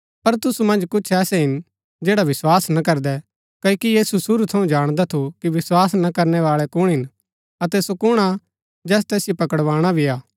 पर तुसु मन्ज कुछ ऐसै हिन जैडा विस्वास ना करदै क्ओकि यीशु शुरू थऊँ जाणदा थू कि विस्वास ना करनै बाळै कुण हिन अतै सो कुण हा जैस तैसिओ पकड़वाणा भी हा